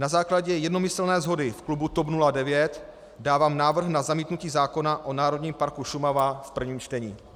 Na základě jednomyslně shody v klubu TOP 09 dávám návrh na zamítnutí zákona o Národním parku Šumava v prvním čtení.